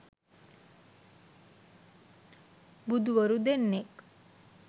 බුදුවරු දෙන්නෙක්